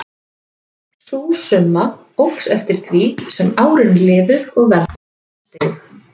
Sú summa óx eftir því sem árin liðu og verðbólgan steig.